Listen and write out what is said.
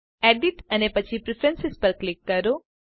edit અને પછી preference પર ક્લિક કરો